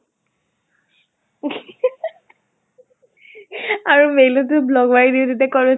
আৰু mail টো block মাৰি দিয় তেতিয়া কʼত